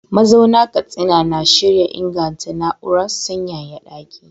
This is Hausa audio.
Mazauna Katsina na shirin inganta na’urar sanyaya daki.